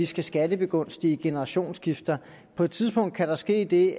skal skattebegunstige generationsskifter på et tidspunkt kan der ske det